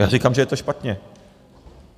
Já říkám, že to je špatně.